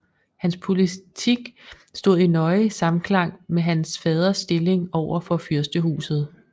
Hans politik stod i nøje samklang med hans faders stilling over for fyrstehuset